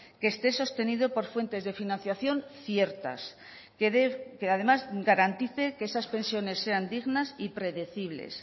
que esté sostenido por fuentes de financiación ciertas que además garantice que esas pensiones sean dignas y predecibles